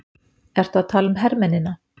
Ertu að tala um hermennina?